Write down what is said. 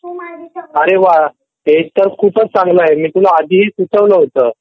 अरे वाह हे तर खूपच चांगलं आहे मी तर तुला अदी ही हे सुचवलं होतं